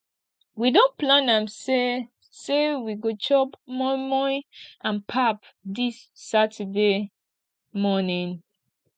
we don plan am sey sey we go chop moimoi and pap dis saturday morning